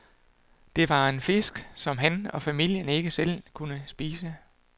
Det var en fisk, som han og familien ikke selv kunne spise.